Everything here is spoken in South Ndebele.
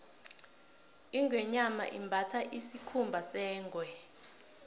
ingweenyama imbatha isikhumba sengwe